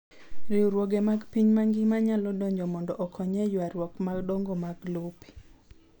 Riwruoge mag piny mangima nyalo donjo mondo okony e ywaruok madongo mag lope.